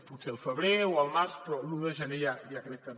potser el febrer o el març però l’un de gener ja crec que no